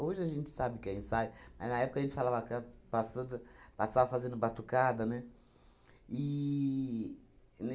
a gente sabe o que é ensaio, mas na época a gente falava ca passando passava fazendo batucada, né? E e